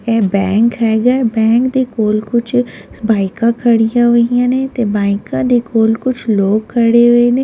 ਏ bank ਹੈਗਾ ਹੈ bank ਦੇ ਕੋਲ ਕੁੱਝ ਬਾਈਕਾਂ ਖੜ੍ਹੀਆਂ ਹੋਈਆਂ ਨੇ ਤੇ ਬਾਈਕਾਂ ਦੇ ਕੋਲ ਕੁੱਝ ਲੋਕ ਖੜ੍ਹੇ ਹੋਏ ਨੇ।